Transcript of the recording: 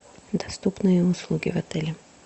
доступные услуги в отеле